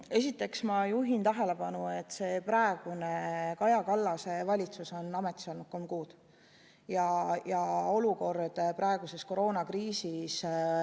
Esiteks, ma juhin tähelepanu, et Kaja Kallase valitsus on ametis olnud kolm kuud.